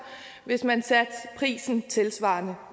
hvis man satte prisen tilsvarende